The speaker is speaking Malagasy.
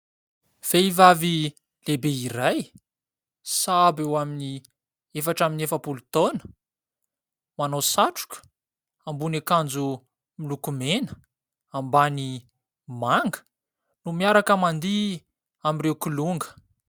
Vehivavy lehibe iray, sahabo eo amin'ny efatra amby efapolo taona, manao sakotra, ambony akanjo miloko mena, ambany manga no miaraka mandihy amin'ireo kilonga.